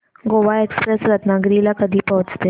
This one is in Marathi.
गोवा एक्सप्रेस रत्नागिरी ला कधी पोहचते